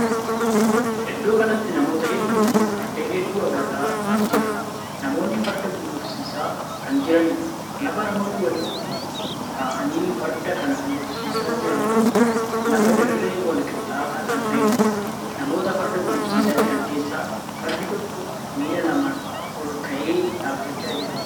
Iddoo kanatti namootaa hedduu fi fardeen hedduu argaa jirra. Namoonni farda gulufsiisaa kan jiraniidha. Lafa namoonni walitti taa'anii farda kana gulufsiisaa jiran kun lafa dirree wal qixxaataa kan taheedha. Namoota farda gulufsiisaa jiran keessaa fardi tokko miilla lamaan ol ka'ee dhaabbachaa jira.